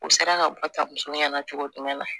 U sera ka bɔ tabu ɲɛ na cogo jumɛn na